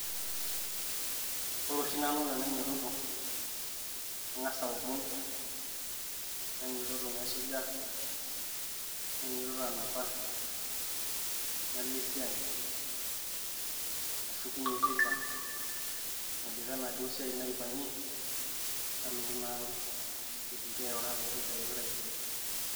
Ore oshi nanu tenainyototo, nang'as aomon nainyototo naisuja, nainyototo anapa, nalo esiai, nashukunye teipa aidipa enaduo siai naipang'ie, nalotu naa ang' aitoki airura paitoki ayok taisere.